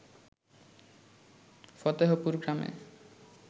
ফতেহপুর গ্রামে